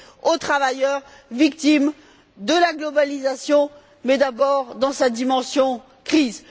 aux travailleurs victimes de la mondialisation mais d'abord dans sa dimension crise.